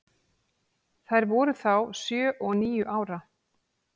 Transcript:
Þær voru þá sjö og níu ára.